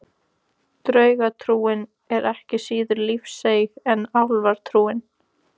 Draugatrúin er ekki síður lífseig en álfatrúin.